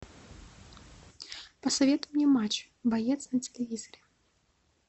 посоветуй мне матч боец на телевизоре